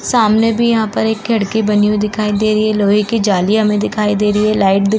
सामने भी यहां पर एक खिड़की बनी हुई दिखाई दे रही है। लोहे की जाली हमे दिखाई दे रही है। लाइट दिख --